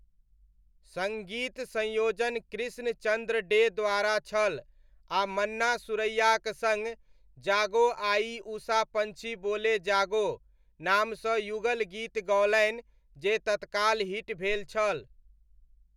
सङ्गीत संयोजन कृष्ण चन्द्र डे द्वारा छल आ मन्ना सुरैयाक सङ्ग 'जागो आई उषा पञ्छी बोले जागो' नामसँ युगल गीत गौलनि जे तत्काल हिट भेल छल।